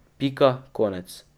Pika, konec.